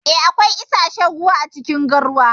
Eh, akwai issashen ruwa acikin garwa.